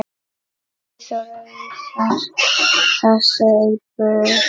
Eyþór vísar þessu á bug.